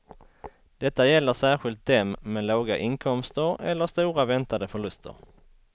Detta gäller särskilt dem med låga inkomster eller stora väntade förluster.